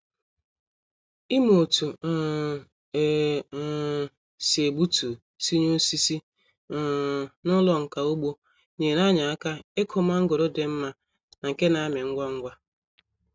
Ịmụ otu um e um si egbutu tinye osisi um n'ụlọ nka ugbo nyere anyị aka ikụ mangoro dị mma na nke na-amị ngwa ngwa.